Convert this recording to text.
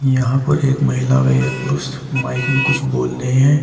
यहां पर एक महिला व एक पुरुष माइक में कुछ बोल रहे हैं।